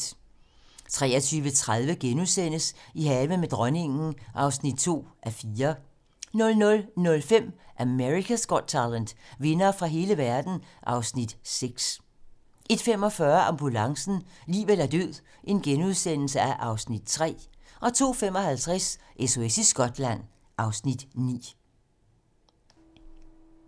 23:30: I haven med dronningen (2:4)* 00:05: America's Got Talent - vindere fra hele verden (Afs. 6) 01:45: Ambulancen - liv eller død (Afs. 3)* 02:55: SOS i Skotland (Afs. 9)